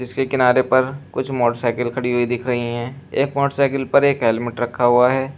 इसके किनारे पर कुछ मोटरसाइकिल खड़ी हुई दिख रही है एक मोटरसाइकिल पर एक हेलमेट रखा हुआ है।